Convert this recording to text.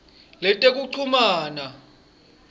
letekuchumana